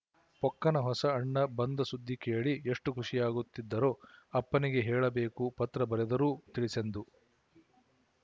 ಪೊಕ್ಕನ ಹೊಸ ಅಣ್ಣ ಬಂದ ಸುದ್ದಿ ಕೇಳಿ ಎಷ್ಟು ಖುಶಿಯಾಗುತ್ತಿದ್ದರೋ ಅಪ್ಪನಿಗೆ ಹೇಳಬೇಕುಪತ್ರ ಬರೆದರೂ ತಿಳಿಸೆಂದು